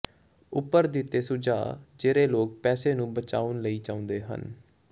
ਉੱਪਰ ਦਿੱਤੇ ਸੁਝਾਅ ਜਿਹੜੇ ਲੋਕ ਪੈਸੇ ਨੂੰ ਬਚਾਉਣ ਲਈ ਚਾਹੁੰਦੇ ਹਨ